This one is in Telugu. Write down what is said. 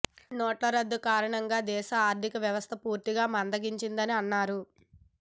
నోట్ల రద్దు కారణంగా దేశ ఆర్ధికవ్యవస్థ పూర్తిగా మందగించిందని అన్నారు